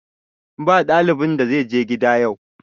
Ba ɗalibin da zai je gida yau!